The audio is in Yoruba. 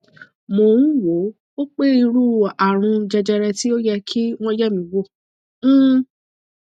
mò ń wò ó pé irú àrùn jẹjẹrẹ tí ó yẹ kí wọn yẹ mí wò um